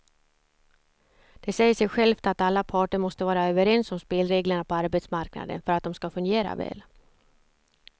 Det säger sig självt att alla parter måste vara överens om spelreglerna på arbetsmarknaden för att de ska fungera väl.